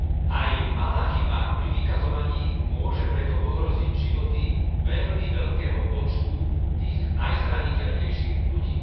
Aj malá chyba pri vykazovaní môže preto ohroziť životy veľmi veľkého počtu tých najzraniteľnejších ľudí.